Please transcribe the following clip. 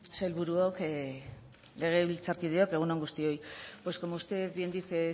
sailburuok legebiltzarkideok egun on guztioi pues como usted bien dice